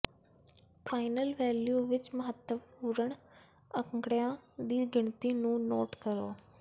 final value ਵਿਚ ਮਹੱਤਵਪੂਰਨ ਅੰਕੜਿਆਂ ਦੀ ਗਿਣਤੀ ਨੂੰ ਨੋਟ ਕਰੋ